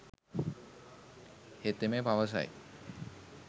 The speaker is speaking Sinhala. හෙතෙම පවස යි.